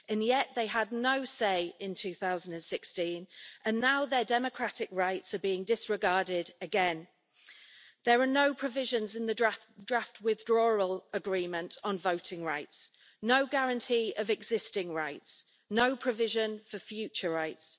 Yet they had no say in 2016, and now their democratic rights are being disregarded again as there are no provisions in the draft withdrawal agreement on voting rights, no guarantee of existing rights and no provision for future rights.